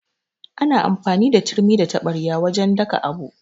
Ana amfani da turmi da taɓarya wajan daka abu